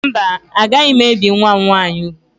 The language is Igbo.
Mba, agaghị m ebi nwa m nwaanyị úgwù